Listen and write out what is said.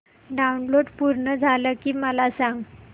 download पूर्ण झालं की मला सांग